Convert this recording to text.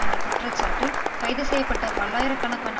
என்ற குற்றச்சாட்டில் கைது செய்ய பட்ட பல்லாயிர கணக்கான